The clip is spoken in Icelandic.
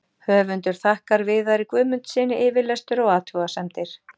Höfundur þakkar Viðari Guðmundssyni yfirlestur og athugasemdir.